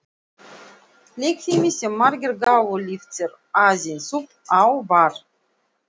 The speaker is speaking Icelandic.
Leikfimi, sem margir gátu lyft sér aðeins upp á, var